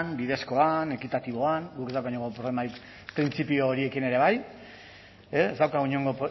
bidezkoan ekitatiboan guk ez daukagu inongo problemarik printzipio horiekin ere bai ez daukagu inongo